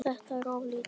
Þetta er of lítið.